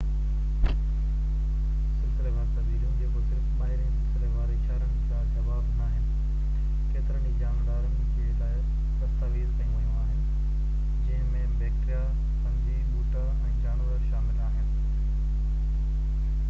سلسليوار تبديليون، جيڪو صرف ٻاهرين سلسليوار اشارن جا جواب ناهن، ڪيترن ئي جاندارن جي لاءِ دستاويزڪيون ويون آهن، جنهن ۾ بيڪٽيريا، فنجي، ٻوٽا، ۽ جانور شامل آهن